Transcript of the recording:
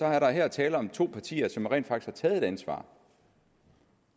er der her tale om to partier som rent faktisk har taget et ansvar